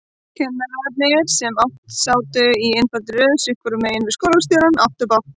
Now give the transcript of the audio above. Kennararnir, sem sátu í einfaldri röð sitthvoru megin við skólastjórann, áttu bágt.